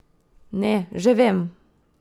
Ne, že vem!